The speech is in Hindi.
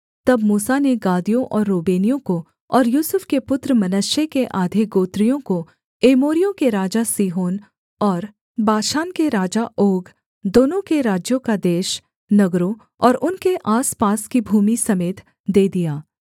तब मूसा ने गादियों और रूबेनियों को और यूसुफ के पुत्र मनश्शे के आधे गोत्रियों को एमोरियों के राजा सीहोन और बाशान के राजा ओग दोनों के राज्यों का देश नगरों और उनके आसपास की भूमि समेत दे दिया